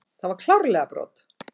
Það var klárlega brot.